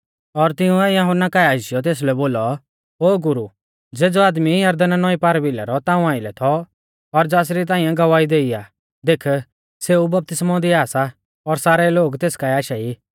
और तिंउऐ यहुन्ना काऐ आशीयौ तेसलै बोलौ ओ गुरु ज़ेज़ौ आदमी यरदना नौईं पार भिला रौ ताऊं आइलै थौ और ज़ासरी ताइंऐ गवाही देई आ देख सेऊ बपतिस्मौ दिआ सा और सारै लोग तेस काऐ आशा ई